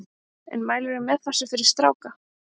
En mælirðu með þessu fyrir stráka?